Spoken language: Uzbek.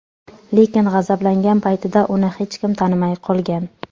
Lekin g‘azablangan paytida uni hech kim tanimay qolgan.